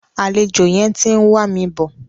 Àlejò yẹn ti ń wà mi bọ̀.